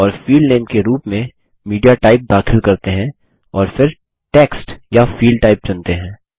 और field name के रूप में मीडियाटाइप दाखिल करते हैं और फिर टेक्स्ट या फील्ड टाइप चुनते हैं